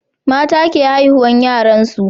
mata ke haihuwar yaran su